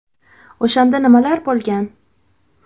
O‘shanda nimalar bo‘lgan?